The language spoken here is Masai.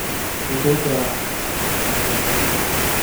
Itejo aa?